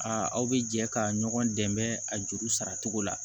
Aa aw bɛ jɛ ka ɲɔgɔn dɛmɛ a juru sara cogo la